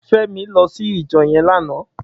Femi lò si ijò yèn làná